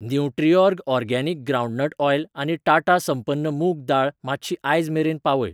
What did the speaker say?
Nutriorg organic groundnut oil आनी टाटा संपन्न मूंग दाळ मात्शी आयज मेरेन पावय.